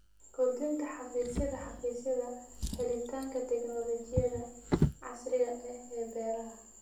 Kordhinta xafiisyada xafiisyada helitaanka tignoolajiyada casriga ah ee beeraha.